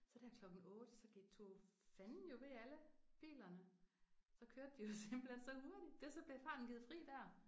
Så der klokken 8 så tog fanden jo ved alle bilerne så kørte de jo simpelthen så hurtigt det så blev farten givet fri der